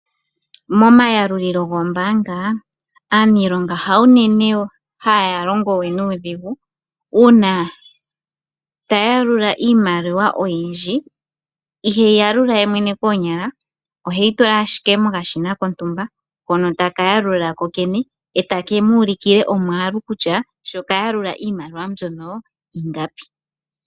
Momayalulilo gombanga aanilonga hayo unene haya longo uuna taya yalula iimaliwa oyindji. Ihe yalula kenyala oheyitula mokashina manga akuutumba konkene ndele takepe omwalu koyene kutya okayalula iimaliwa ingapi.